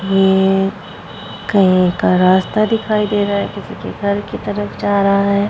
ये कहीं का रास्ता दिखाई दे रहा है किसी के घर की तरफ जा रहा है।